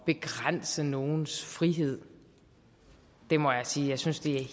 begrænse nogens frihed det må jeg sige jeg synes det er